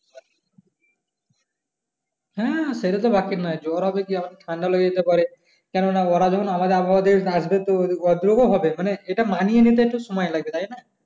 হ্যাঁ সেটা তো বাকির নয় জ্বর হবে কি ঠাণ্ডা লেগে যেতে পারে কেনো না ওরা যখন আমাদের আবহাওয়া দেশ আসবে তো ওদেরও হবে মানে এটা মানিয়ে নিতে সময় লাগবে তাই নয়